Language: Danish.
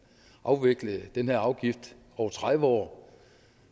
afvikle den her afgift over tredive år